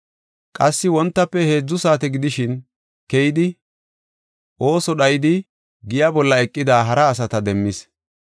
“Qassi wontafe heedzu saate gidishin keyidi ooso dhayidi giya bolla eqida hara asata demmis.